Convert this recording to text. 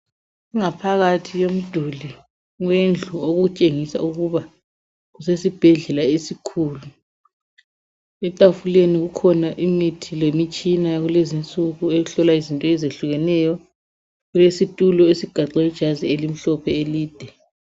Ingaphakathi yomduli wendlu okutshengisa ukuba kusesibhedlela esikhulu. Etafuleni kukhona imithi lemitshina yakulezinsuku eeyokuhlola izinto ezitshiyeneyo kulesitulo esiqaxwe ijazi elimhlophe elide.